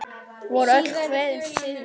Voru öll kvæðin siðleg?